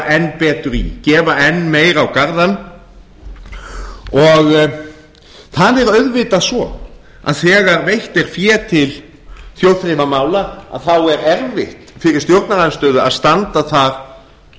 enn betur í gefa enn meira á garðann það er auðvitað svo að þegar veitt er fé til þjóðþrifamála þá er erfitt fyrir stjórnarandstöðu að standa þar